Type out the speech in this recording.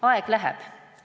Aeg läheb.